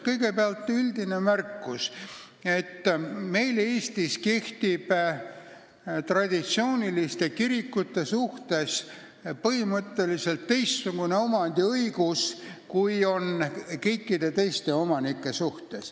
Kõigepealt üldine märkus, et Eestis kehtib traditsiooniliste kirikute kohta põhimõtteliselt teistsugune omandiõigus, kui kehtib kõikide teiste omanike kohta.